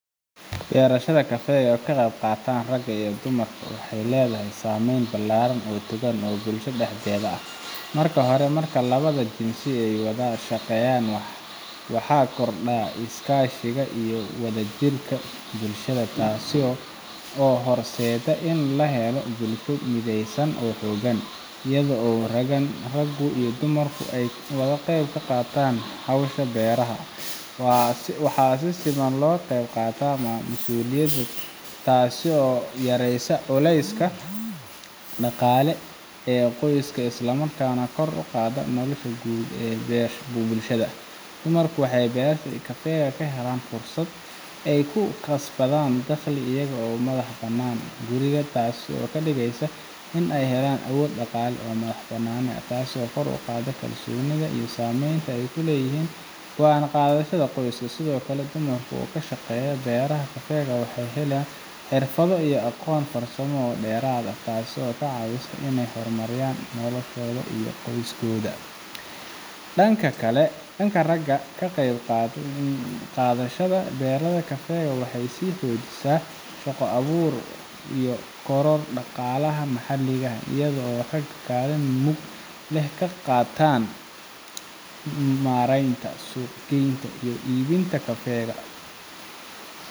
beerashada kafeega oo ay ka qayb qaataan ragga iyo dumarkuba waxay leedahay saameyn ballaaran oo togan oo bulshada dhexdeeda ah. marka hore, marka labada jinsi ay wada shaqeeyaan, waxaa korodha iskaashiga iyo wadajirka bulshada taas oo horseedda in la helo bulsho mideysan oo xoogan. iyadoo ragga iyo dumarku ay ka wada qayb qaataan hawsha beeraha, waxaa si siman loo qayb qaataa masuuliyadaha taasoo yareysa culeyska dhaqaale ee qoyska isla markaana kor u qaada nolosha guud ee bulshada. dumarku waxay beerashada kafeega ka helaan fursad ay ku kasbadaan dakhli iyaga oo ka madax bannaan guriga taasoo ka dhigaysa in ay helaan awood dhaqaale iyo madax-bannaani taas oo kor u qaadda kalsoonida iyo saamaynta ay ku leeyihiin go’aan qaadashada qoyska. sidoo kale, dumarka oo ka shaqeeya beeraha kafeega waxay helaan xirfado iyo aqoon farsamo oo dheeraad ah taasoo ka caawisa inay horumariyaan noloshooda iyo tan qoyska. dhanka ragga, ka qayb qaadashada beerashada kafeega waxay sii xoojisaa shaqo-abuurka iyo kororka dhaqaalaha maxalliga ah, iyadoo ragga kaalin mug leh ka qaataan maaraynta, suuq geynta, iyo iibinta kafeega